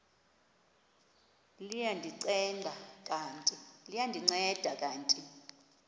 liya ndinceda kanti